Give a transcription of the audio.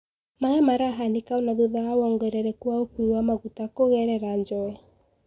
Maya marahanika ona thutha wa wongerereku wa ukuwi wa maguta kugerera njowe.